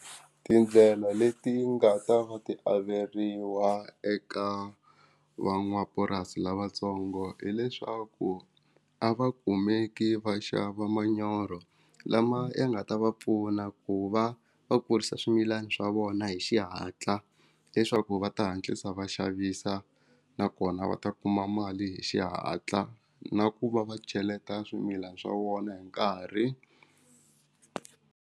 Tindlela leti nga ta va ti averiwa eka van'wamapurasi lavatsongo hileswaku a va kumeki va xava manyoro lama ya nga ta va pfuna ku va va kurisa swimilani swa vona hi xihatla leswaku va ta hatlisa va xavisa nakona va ta kuma mali hi xihatla na ku va va cheleta swimilana swa vona hi nkarhi.